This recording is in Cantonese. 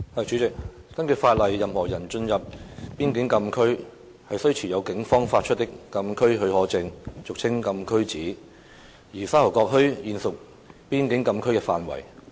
主席，根據法例，任何人進入邊境禁區，須持有警方發出的禁區許可證，而沙頭角墟現屬邊境禁區的範圍。